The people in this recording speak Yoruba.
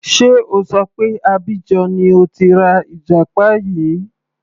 Sé O ṣọ pé Abidjan ni o ti ra ìjàpá yìí.